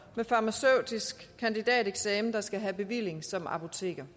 med farmaceutisk kandidateksamen der skal have bevilling som apotekere